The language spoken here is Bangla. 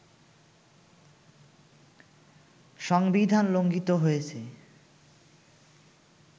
সংবিধান লঙ্ঘিত হয়েছে